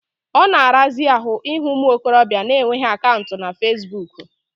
Ọ na-arazi ahụ ịhụ ụmụ okorobịa na-enweghi akaụntụ na fasibuuku.